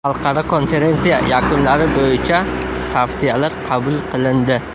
Xalqaro konferensiya yakunlari bo‘yicha tavsiyalar qabul qilindi.